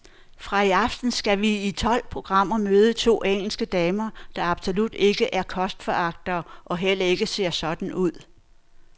Fra i aften skal vi i tolv programmer møde to engelske damer, der absolut ikke er kostforagtere og heller ikke ser sådan ud.